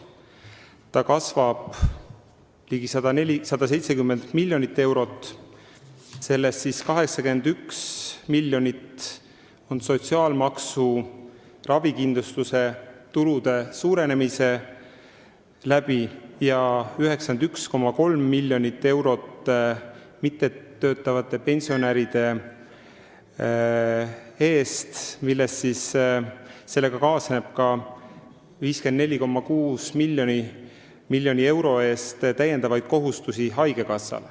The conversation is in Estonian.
See kasvab ligi 170 miljonit eurot, sellest 81 miljonit tuleneb sotsiaalmaksu ravikindlustuse tulude suurenemisest ja 91,3 miljonit eurot tuleb mittetöötavate pensionäride eest, millega kaasneb haigekassale ka 54,6 miljoni euro eest lisakohustusi.